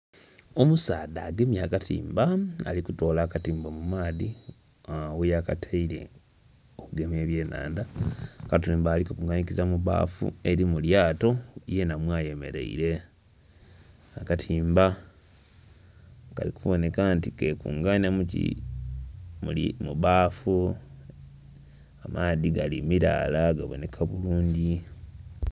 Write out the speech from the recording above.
Omusaadha agemye akatimba nga ali kutoola akatimba mu maadhi gheyakataire okugema eby'enhandha, akatimba ali kakunganhikiza mu bbafu eri mu lyato yenha mwayemereire. Akatimba kali kuboneka nti kekunganya muki... mu bbafu. Amaadhi gali milaala gaboneka bulungi.